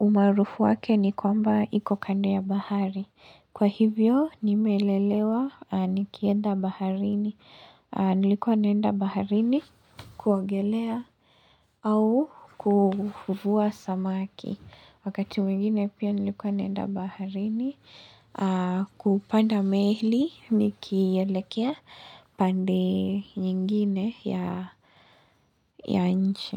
umaarufu wake ni kwamba iko kande ya bahari. Kwa hivyo, nimelelewa nikienda baharini. Nilikuwa naenda baharini kuogelea au kuvua samaki. Wakati mwingine pia nilikuwa naenda baharini kupanda meli nikielekea pande nyingine ya nchi.